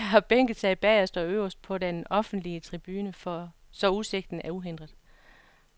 De har bænket sig bagerst og øverst på den offentlige tribune så udsigten er uhindret.